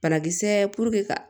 Banakisɛ ka